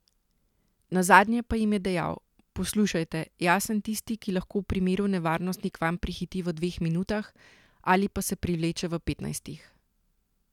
Nazadnje pa jim je dejal: 'Poslušajte, jaz sem tisti, ki lahko v primeru nevarnosti k vam prihiti v dveh minutah, ali pa se privleče v petnajstih.